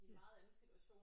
I en meget anden situation